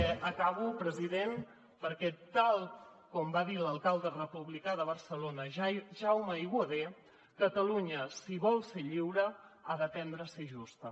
acabo president perquè tal com va dir l’alcalde republicà de barcelona jaume aiguader catalunya si vol ser lliure ha d’aprendre a ser justa